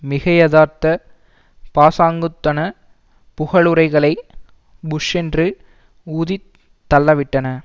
மிகையதார்த்த பாசாங்குத்தன புகழுரைகளை புஸ்ஸென்று ஊதித் தள்ளவிட்டன